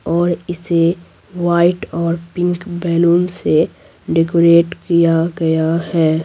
और इसे व्हाइट और पिंक बैलून से डेकोरेट किया गया है।